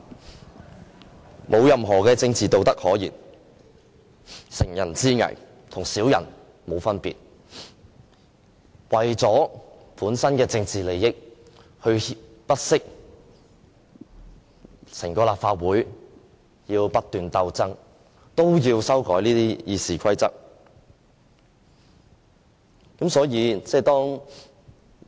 他們沒有任何政治道德可言，乘人之危，跟小人沒有分別，為了本身的政治利益，不惜令整個立法會不斷鬥爭也要修改《議事規則》。